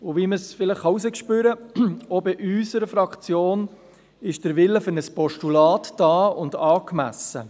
Wie man es vielleicht herausspürt, ist auch in unserer Fraktion der Wille für ein Postulat vorhanden und angemessen.